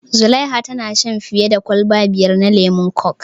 Zulaiha tana shan fiya da kwalba biyar na lemon kok